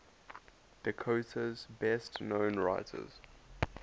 dakota's best known writers